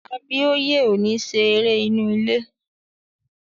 Abíóyè ò ní ṣe eré inú ilé